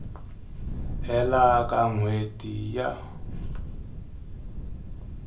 hela ka n hweti ya